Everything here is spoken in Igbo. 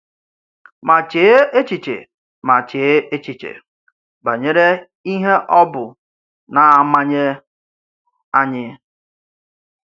Ma chee échichè Ma chee échichè banyere ìhè ọ bụ na-amànyè ányị